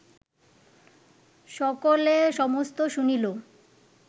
সকলে সমস্ত শুনিল